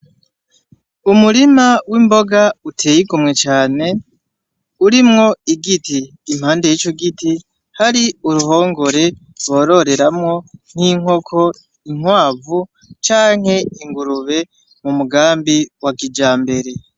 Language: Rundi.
Umurima w'imboga uteye igomwe cane urimwo igiti impande yico giti hari uruhongore bororeramwo néinkoko inkwavu canke ingurube mu mugambi wa kijambere.